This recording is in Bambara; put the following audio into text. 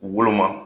Woloma